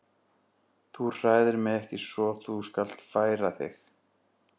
Þú hræðir mig ekki svo þú skalt færa þig.